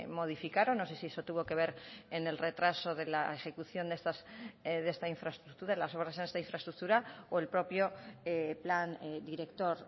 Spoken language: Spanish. modificaron no sé si eso tuvo que ver en el retraso de la ejecución de las obras en esta infraestructura o el propio plan director